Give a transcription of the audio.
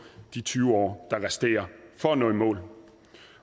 de tyve år der resterer for at nå i mål